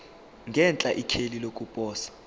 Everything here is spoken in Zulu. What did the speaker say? ngenhla ikheli lokuposa